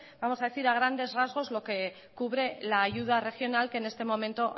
vamos a decir a grandes rasgos lo que cubre la ayuda regional que en este momento